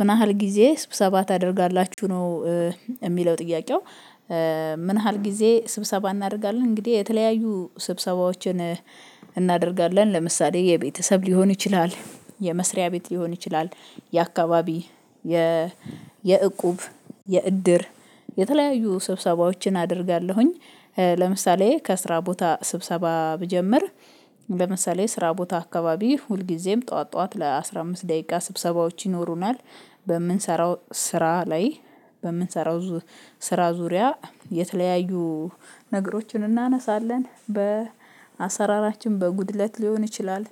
ምን ያህል ጊዜ ስብሰባ ታደርጋላችሁ ነው የሚለው ጥያቄው ምን ያህል ጊዜ ስብሰባ እናደርጋለን እንግዲህ የተለያዩ ስብሰባዎችን እናደርጋለን ለምሳሌ የቤተሰብ ሊሆን ይችላል የመስሪያ ቤት ሊሆን ይችላል የአካባቢ የ የእቁብ የእድር የተለያዩ ስብሰባዎችን አደርጋለሁኝ ለምሳሌ ከስራ ቦታ ስብሰባ ብጀምር ለምሳሌ ስራ ቦታ አካባቢ ሁልጊዜም ጠዋት ጠዋት ለአሥራ አምስት ደቂቃ ስብሰባዎች ይኖሩናል በምንሰራው ስራ ላይ በምንሰራው ስራ ዙሪያ የተለያዩ ነገሮችን እናነሳለን በአሰራራችን በጉድለት ሊሆን ይችላል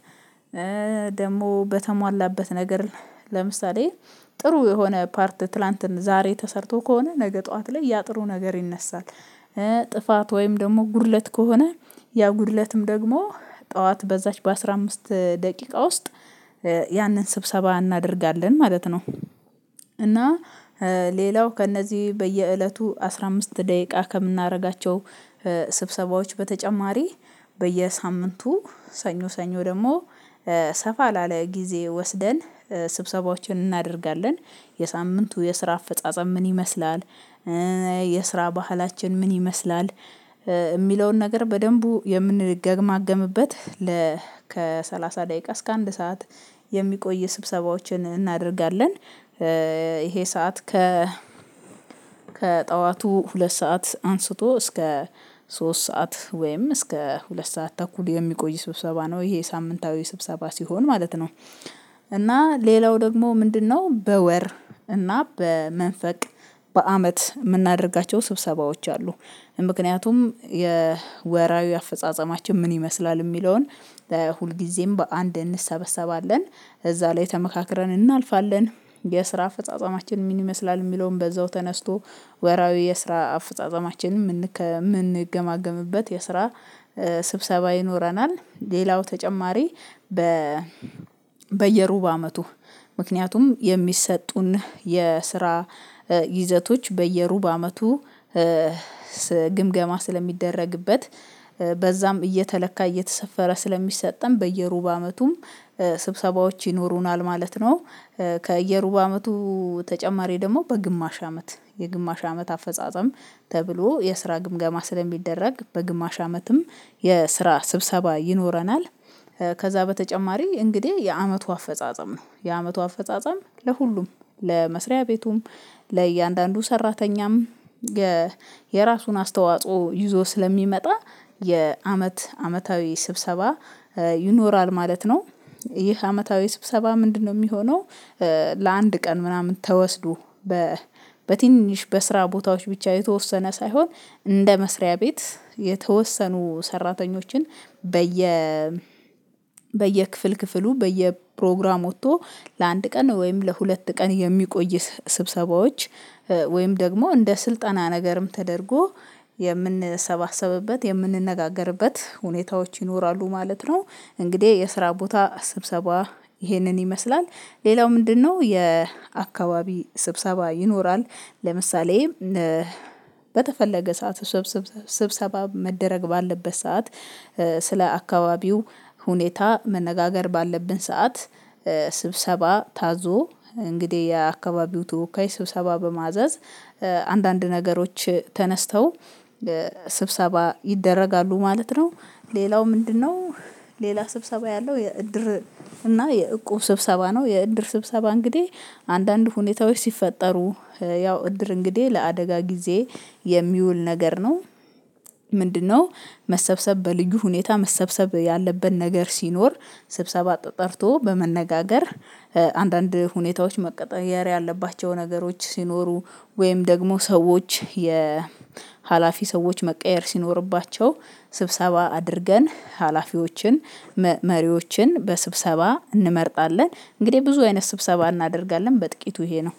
ደግሞ በተሟላበት ነገር ለምሳሌ ጥሩ የሆነ ፓርት ትላንትን ዛሬ ተሰርቶ ከሆነ ነገ ጠዋት ላይ ያጥሩ ነገር ይነሳል ጥፋት ወይም ደግሞ ጉድለት ከሆነ ያ ጉድለትም ደግሞ ጠዋት በዛች በአስራ አምስትደቂቃ ውስጥ ያንን ስብሰባ እናደርጋለን ማለት ነው እና ሌላው ከእነዚህ በየእለቱ አስራ አምስት ደቂቃ ከምናደርጋቸው ስብሰባዎች በተጨማሪ በየሳምንቱ ሰኞ ሰኞ ደግሞ ሰፋ ላለ ጊዜ ወስደን ስብሰባዎችን እናደርጋለን የሳምንቱ የስራ አፈጻጸም ምን ይመስላል የስራ ባህላችን ምን ይመስላል የሚለውን ነገር በደንቡ የምንገማገምበት ለ ከሰላሳ ደቂቃ እስከ አንድ ሰዓት የሚቆይ ስብሰባዎችን እናደርጋለን፤ ይሄ ሰዓት ከ ከጠዋቱ ሁለት ሰዓት አንስቶ እስከ ሶስት ሰዓት ወይም እስከ ሁለት ሰዓት ተኩል የሚቆይ ስብሰባ ነው ይሄ ሳምንታዊ ስብሰባ ሲሆን ማለት ነው እና ሌላው ደግሞ ምንድነው በወር እና በመንፈቅ በአመት የምናደርጋቸው ስብሰባዎች አሉ ምክንያቱም የወራዊ አፈጻጸማችን ምን ይመስላል የሚለውን ሁልጊዜም በአንድ እንሰበሰባለን እዛ ላይ ተመካክረን እናልፋለን የስራ አፈጻጸማችን ምን ይመስላል የሚለውን በዛው ተነስቶ ወራዊ የስራ አፈጻጸማችን የምንገማገምበት የስራ ስብሰባ ይኖረናል ሌላው ተጨማሪ በ በየሩብ አመቱ ምክንያቱም የሚሰጡን የስራ ይዘቶች በየሩብ አመቱ ግምገማ ስለሚደረግበት በዛም እየተለካ እየተሰፈረ ስለሚሰጠን በየሩብ አመቱም ስብሰባዎች ይኖሩናል ማለት ነው። ከየሩብ አመቱ ተጨማሪ ደግሞ በግማሽ አመት የግማሽ አመት አፈጻጸም ተብሎ የስራ ግምገማ ስለሚደረግ በግማሽ አመትም የስራ ስብሰባ ይኖረናል፤ ከዛ በተጨማሪ እንግዲህ የአመቱ አፈጻጸም ነው የአመቱ አፈጻጸም ለሁሉም ለመስሪያ ቤቱም ለእያንዳንዱ ሰራተኛም የራሱን አስተዋጽኦ ይዞ ስለሚመጣ የአመት አመታዊ ስብሰባ ይኖራል ማለት ነው፤ ይህ አመታዊ ስብሰባ ምንድነው የሚሆነው ለአንድ ቀን ምናምን ተወስዶ በትንሽ በስራ ቦታዎች ብቻ የተወሰነ ሳይሆን እንደ መስሪያ ቤት የተወሰኑ ሰራተኞችን በየ በየክፍል ክፍሉ በየፕሮግራም ወጥቶ ለአንድ ቀን ወይም ለሁለት ቀን የሚቆይ ስብሰባዎች ወይም ደግሞ እንደ ስልጠና ነገርም ተደርጎ የምንሰባሰብበት የምንነጋገርበት ሁኔታዎች ይኖራሉ ማለት ነው እንግዲህ የስራ ቦታ ስብሰባ ይሄንን ይመስላል ሌላው ምንድነው የአካባቢ ስብሰባ ይኖራል ለምሳሌ በተፈለገ ሰዓት ስብሰባ መደረግ ባለበት ሰዓት ስለ አካባቢው ሁኔታ መነጋገር ባለብን ሰዓት ስብሰባ ታዞ እንግዲህ የአካባቢው ተወካይ ስብሰባ በማዘዝ አንዳንድ ነገሮች ተነስተው ስብሰባ ይደረጋሉ ማለት ነው፤ ሌላው ምንድነው ሌላ ስብሰባ ያለው የእድር እና የእቁብ ስብሰባ ነው የእድር ስብሰባ እንግዲህ አንዳንድ ሁኔታዎች ሲፈጠሩ ያው እድር እንግዲህ ለአደጋ ጊዜ የሚውል ነገር ነው፤ ምንድነው መሰብሰብ በልዩ ሁኔታ መሰብሰብ ያለበት ነገር ሲኖር ስብሰባ ጠርቶ በመነጋገር አንዳንድ ሁኔታዎች መቀጠሪያ ያለባቸው ነገሮች ሲኖሩ ወይም ደግሞ ሰዎች የሀላፊ ሰዎች መቀየር ሲኖርባቸው ስብሰባ አድርገን ሀላፊዎችን መሪዎችን በስብሰባ እንመርጣለን እንግዲህ ብዙ አይነት ስብሰባ እናደርጋለን በጥቂቱ ይሄ ነው።